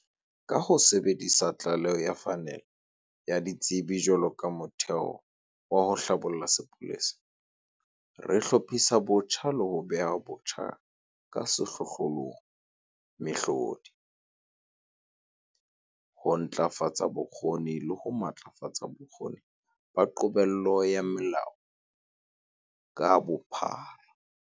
Ka ho sebedisa tlaleho ya Phanele ya Ditsebi jwalo ka motheo wa ho hlabolla sepolesa, re hlophisa botjha le ho beha botjha ka sehlohlolong mehlodi, ho ntlafatsa bokgoni le ho matlafatsa bokgoni ba qobello ya molao ka bophara.